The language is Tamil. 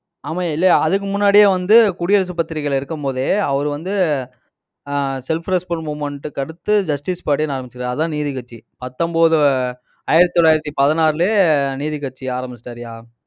ஆமாய்யா இல்லையா அதுக்கு முன்னாடியே வந்து, குடியரசு பத்திரிகையில இருக்கும் போதே, அவரு வந்து ஆஹ் self respect movement க்கு அடுத்து justice party ன்னு ஆரம்பிச்சது. அதான் நீதிக்கட்சி. பத்தொன்பது, ஆயிரத்தி தொள்ளாயிரத்தி பதினாறுலயே, நீதிக்கட்சி ஆரம்பிச்சிட்டாருய்யா.